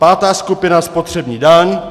Pátá skupina - spotřební daň.